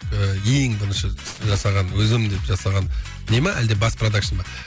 ең бірінші жасаған өзім деп жасаған не ме әлде бас продакшн ба